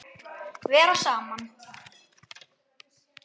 Vera saman.